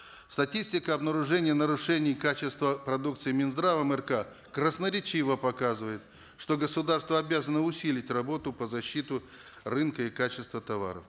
статистика обнаружений нарушений качества продукции минздравом рк красноречиво показывает что государство обязано усилить работу по защите рынка и качества товаров